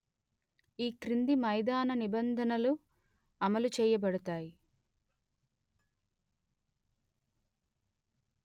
ఈ క్రింది మైదాన నిబంధనలు అమలు చేయబడతాయి